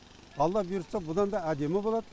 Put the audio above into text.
алла бұйыртса бұдан да әдемі болады